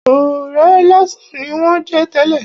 Ọ̀rẹ́ lásán ni wón jẹ́ tẹ́lè.